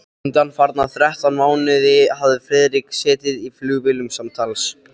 Undanfarna þrettán mánuði hafði Friðrik setið í flugvélum samtals